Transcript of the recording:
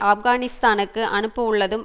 ஆப்கானிஸ்தானுக்கு அனுப்ப உள்ளதுடன்